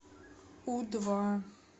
у два